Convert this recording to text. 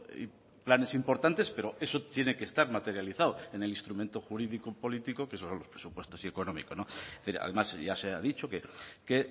planes importantes pero eso tiene que estar materializado en el instrumento jurídico político que son los presupuestos y económico no es decir además ya se ha dicho que